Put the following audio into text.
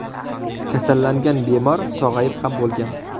Kasallangan bemor sog‘ayib ham bo‘lgan.